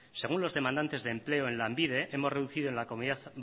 según los demandantes de empleo en lanbide hemos reducido en la comunidad